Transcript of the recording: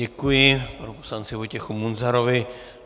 Děkuji panu poslanci Vojtěchovi Munzarovi.